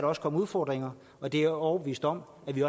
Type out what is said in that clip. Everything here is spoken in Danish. også komme udfordringer og det er jeg overbevist om at vi